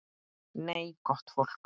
Nei, gott fólk.